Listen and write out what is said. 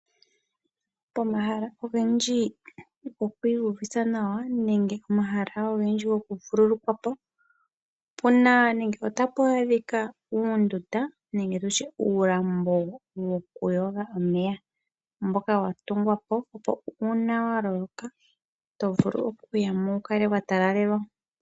Pomahala ogendji gokwiiyuvitha nawa nenge omahala ogendji gokuvululukwa po. Opuna nenge tapu adhika uundunda nenge tutye uulambo wokuyoga omeya mboka wa tungwa po opo uuna wa loloka oto vulu okuya mo wukale wa talalelwa.